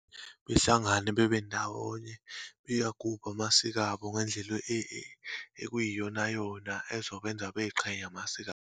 Behlangane bebendawonye, beyagubhe amasiko abo ngendlela ekuyiyonayona ezokwenza bayiqhenye ngamasiko abo.